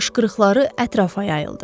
qışqırıqları ətrafa yayıldı.